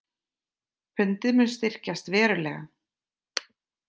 Pundið mun styrkjast verulega